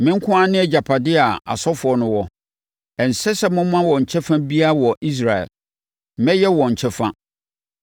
“ ‘Me nko ara ne agyapadeɛ a asɔfoɔ no wɔ. Ɛnsɛ sɛ moma wɔn kyɛfa biara wɔ Israel. Mɛyɛ wɔn kyɛfa.